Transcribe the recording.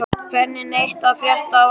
Hvergi neitt að frétta af Arndísi.